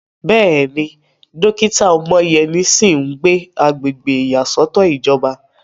Bẹ́ẹ̀ni, dókítà Omoyeni sì ń gbé agbègbè ìyàsọ́tọ̀ ìjọba.